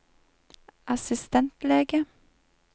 assistentlege